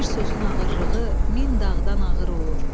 Bir sözün ağırlığı min dağdan ağır olur.